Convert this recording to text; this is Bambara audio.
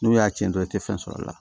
N'u y'a tiɲɛ dɔrɔn i tɛ fɛn sɔrɔ a la